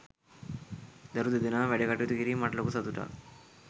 දරු දෙදෙනාම වැඩකටයුතු කිරීම මට ලොකු සතුටක්.